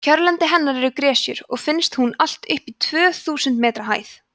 kjörlendi hennar eru gresjur og finnst hún allt upp í tvö þúsund metra hæð